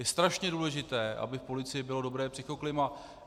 Je strašně důležité, aby v policii bylo dobré psychoklima.